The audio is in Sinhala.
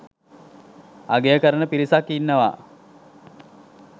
අගය කරන පිරිසක් ඉන්නවා.